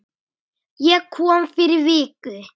Ég kom fyrir viku